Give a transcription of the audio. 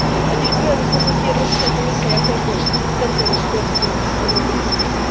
Ať již bude rozhodnutí Evropské komise jakékoliv, tento rozpor s tím z Evropy nezmizí.